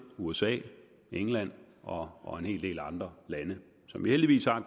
usa england og en hel del andre lande som vi heldigvis har